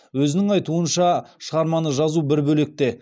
өзінің айтуынша шығарманы жазу бір бөлек те